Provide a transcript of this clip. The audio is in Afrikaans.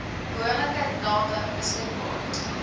behoorlike data beskik